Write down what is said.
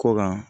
Kɔ kan